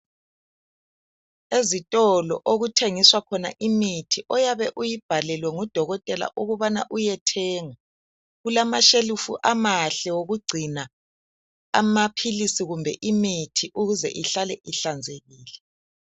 Ezitolo okuthengiswa khona imithi oyabe uyibhalelwe ngudokotela ukubana uyethenga. Kulamashelufu amahle wokugcina amaphilisi kumbe imithi ukuze ihlale ihlanzekile.